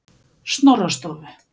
Snorrastofu